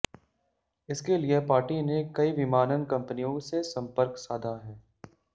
इसके लिए पार्टी ने कई विमानन कंपनियों से संपर्क साधा है